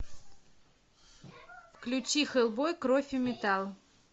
включи хеллбой кровь и металл